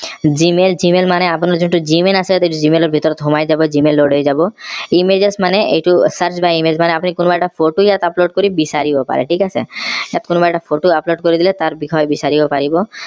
gmail gmail মানে আপোনাৰ যোনটো gmail আছে gmail ৰ ভিতৰত সোমায় যাব gmail. হৈ যাব images মানে এইটো search by image মানে আপুনি কোনোবা এটা photo ইয়াত upload কৰি বিচাৰিব পাৰে ঠিক আছে ইয়াত কোনোবা এটা photo upload কৰি দিলে তাৰ বিষয়ে বিচাৰিব পাৰিব